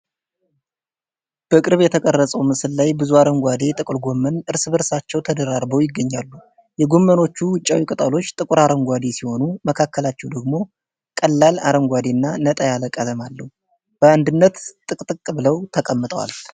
በቅርብ የተቀረጸው ምስል ላይ ብዙ አረንጓዴ ጥቅልጎመን እርስ በእርሳቸው ተደራርበው ይገኛሉ። የጎመኖቹ ውጫዊ ቅጠሎች ጥቁር አረንጓዴ ሲሆኑ፣ መካከላቸው ደግሞ ቀላል አረንጓዴና ነጣ ያለ ቀለም አለው። በአንድነት ጥቅጥቅ ብለው ተቀምጠዋል።